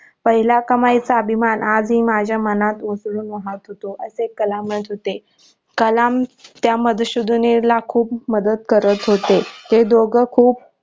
पहिला कमाई चा अभिमान आज ही माझ्या मनात उकळून राहत होते असे कलाम म्हणत होते कलाम त्या मध सुद्धीनील ला खूप मदत करत होते ते दोघ खूप